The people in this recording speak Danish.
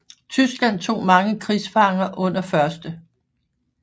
Tyskland tog mange krigsfanger under 1